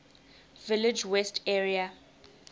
village west area